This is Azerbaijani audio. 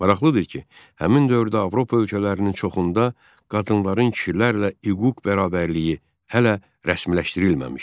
Maraqlıdır ki, həmin dövrdə Avropa ölkələrinin çoxunda qadınların kişilərlə hüquq bərabərliyi hələ rəsmiləşdirilməmişdi.